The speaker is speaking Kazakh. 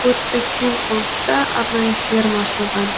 көрікті кең қоныста арнайы ферма ашылған